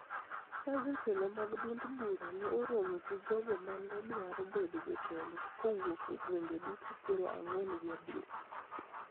ka jotelo mag duond bura ne oromo gi jogo ma ne dwaro bedo jotelo kowuok e gwenge duto piero ang'wen gi abiriyo